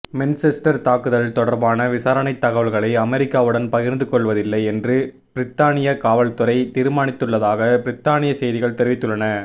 Manchester தாக்குதல் தொடர்பான விசாரணைத் தகவல்களை அமெரிக்காவுடன் பகிர்ந்துக் கொள்வதில்லை என்று பிரித்தானிய காவற்துறை தீர்மானித்துள்ளதாக பிரித்தானிய செய்திகள் தெரிவித்துள்ளன